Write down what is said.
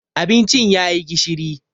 Abincin ya yi gishiri.